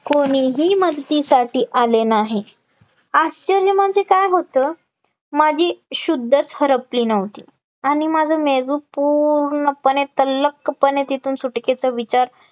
कोणीही मदतीसाठी आले नाही, आश्चर्य म्हणजे काय होत, माझी शुद्धच हरपली नव्हती, आणि माझं मेंदू पूर्पणपणे तल्लखपणे तिथून सुटकेचा विचार